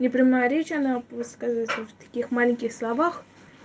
непрямая речь она высказывается в таких маленьких словах